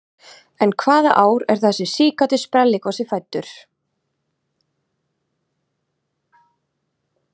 En hvaða ár er þessi síkáti sprelligosi fæddur?